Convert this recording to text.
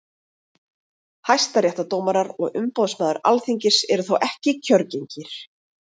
Hæstaréttardómarar og umboðsmaður Alþingis eru þó ekki kjörgengir.